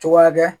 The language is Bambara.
Cogoya dɛ